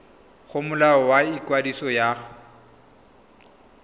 go molao wa ikwadiso wa